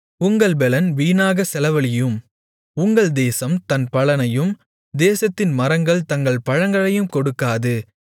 உங்கள் பெலன் வீணாகச் செலவழியும் உங்கள் தேசம் தன் பலனையும் தேசத்தின் மரங்கள் தங்கள் பழங்களையும் கொடுக்காது